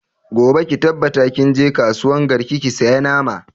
Gobe ki tabbata kin je kasuwan garki ki saya nama!